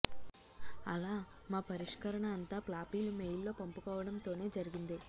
అలా మా పరిష్కరణ అంతా ఫ్లాపీలు మెయిల్లో పంపుకోవడం తోనే జరిగింది